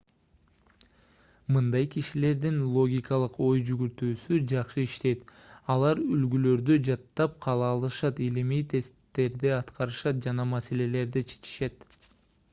мындай кишилердин логикалык ой жүгүртүүсү жакшы иштейт алар үлгүлөрдү жаттап кала алышат илимий тесттерди аткарышат жана маселелерди чечишет